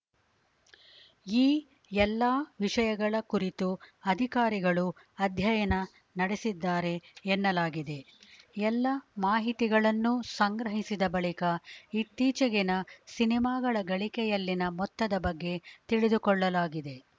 ಈ ಎಲ್ಲಾ ವಿಷಯಗಳ ಕುರಿತು ಅಧಿಕಾರಿಗಳು ಅಧ್ಯಯನ ನಡೆಸಿದ್ದಾರೆ ಎನ್ನಲಾಗಿದೆ ಎಲ್ಲ ಮಾಹಿತಿಗಳನ್ನು ಸಂಗ್ರಹಿಸಿದ ಬಳಿಕ ಇತ್ತೀಚೆಗಿನ ಸಿನಿಮಾಗಳ ಗಳಿಕೆಯಲ್ಲಿನ ಮೊತ್ತದ ಬಗ್ಗೆ ತಿಳಿದುಕೊಳ್ಳಲಾಗಿದೆ